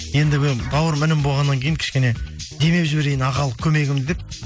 енді бауырым інім болғаннан кейін кішене демеп жіберейін ағалық көмегім деп